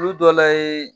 Olu dɔ la ye